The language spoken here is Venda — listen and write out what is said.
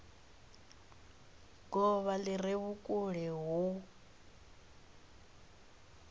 govha li re vhukule hu